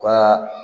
U ka